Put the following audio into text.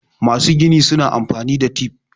masu gini suna amfani da tif